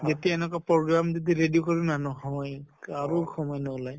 এতিয়া এনেকা program যদি ready কৰোঁ না, নহয়ে। কাৰো সময় নোলায়।